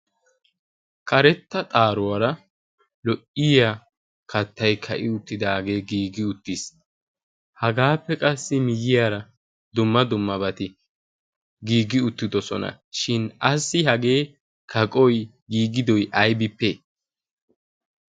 karetta xaaruwaara lo'iya kattai ka'i uttidaagee giigi uttiis hagaappe qassi miyyiyaara dumma dummabati giiggi uttidosona shin assi hagee kaqoi giigidoi aybipee?